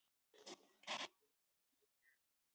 Sjónboð frá vinstra sjónsviði berast fyrst til hægra heilahvels.